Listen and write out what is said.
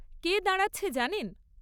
কে দাঁড়াচ্ছে জানেন?